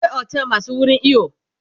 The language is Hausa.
akwai otel masu wurin iyo